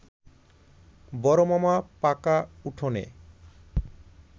বড়মামা পাকা উঠোনে